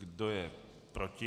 Kdo je proti?